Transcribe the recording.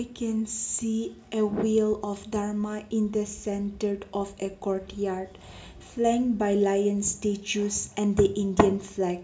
we can see a wheel of dharma in the centered of a courtyard flying by lions statues and the Indian flag.